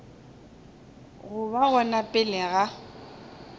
go ba gona pele ga